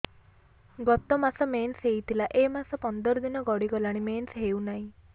ଗତ ମାସ ମେନ୍ସ ହେଇଥିଲା ଏ ମାସ ପନ୍ଦର ଦିନ ଗଡିଗଲାଣି ମେନ୍ସ ହେଉନାହିଁ